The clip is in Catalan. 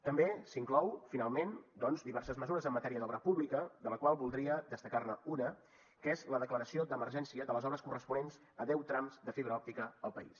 també s’inclouen finalment doncs diverses mesures en matèria d’obra pública de les quals voldria destacar ne una que és la declaració d’emergència de les obres corresponents a deu trams de fibra òptica al país